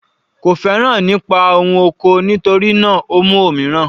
Kò féràn ẹ̀kọ́ nípa ohun oko, nítorí náà o mú òmíràn.